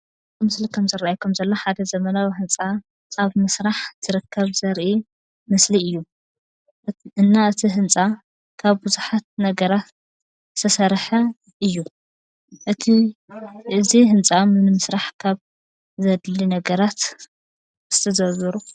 ምስሊ ከም ዝራኣየኩም ዘሎ ሓደ ዘመናዊ ህንፃ ኣብ ምስራሕ ትርከብ ዘርኢ ምስሊ እዩ ።እና እቲ ህንፃ ካብ ብዙሓት ነገራት ዝተሰርሐ እዩ ።እቲ እዚ ህንፃ ንምስራሕ ካብ ዘድሊ ነገራት እስቲ ዘርዙሩ ?